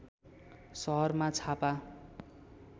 सहरमा छापा